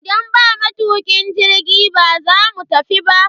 Idan ba matukin jirgi, ba za mu tafi ba.